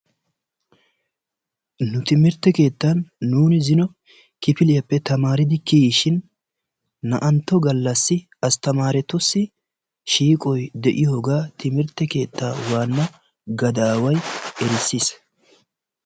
Nu timirtte keettan nuuni zino kifiliyaappe tamaaridi kiyishin naa'antto galassi astamaretussi shiiqqoy de'iyoogaa timirtte keettaa waana gadaway erissiis.